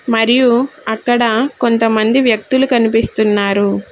మరియు అక్కడ కొంతమంది వ్యక్తి లు కనిపిస్తున్నారు.